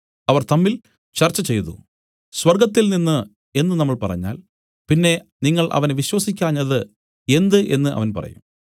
അവർ തമ്മിൽ ചർച്ചചെയ്തു സ്വർഗ്ഗത്തിൽനിന്നു എന്നു നമ്മൾ പറഞ്ഞാൽ പിന്നെ നിങ്ങൾ അവനെ വിശ്വസിക്കാഞ്ഞത് എന്ത് എന്നു അവൻ പറയും